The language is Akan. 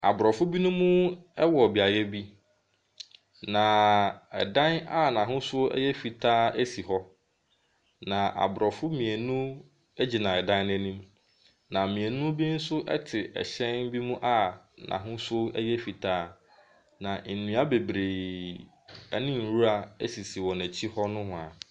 Aborɔfoɔ binom wɔ beaeɛ bi, na dan a n’ahosuo yɛ fitaa si hɔ. Na aborɔfo mmienu gyina dan n’anim, na mmienu nso te hyɛn bi mu n,ahosuo yɛ fitaa. Na nnua bebree ne nwura sisi wɔn akyi hɔ nohoa.